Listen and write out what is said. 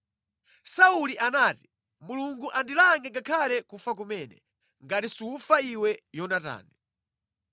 Sauli anati, “Mulungu andilange ngakhale kufa kumene, ngati sufa iwe Yonatani.”